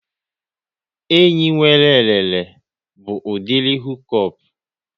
Enyi nwere elele bụ udiri hukop